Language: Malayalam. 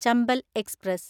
ചമ്പൽ എക്സ്പ്രസ്